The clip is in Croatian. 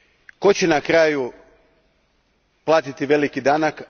Tko će na kraju platiti veliki danak?